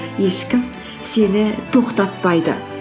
ешкім сені тоқтатпайды